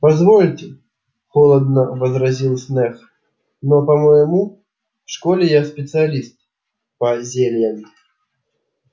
позвольте холодно возразил снегг но по-моему в школе я специалист по зельям